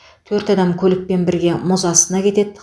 төрт адам көлікпен бірге мұз астына кетеді